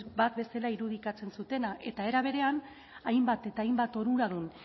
bat bezala irudikatzen zutena eta era berean hainbat eta hainbat onuradun